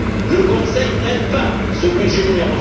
Le Conseil n'aime pas ce budget n°